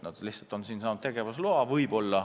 Nad lihtsalt on siin saanud tegevusloa.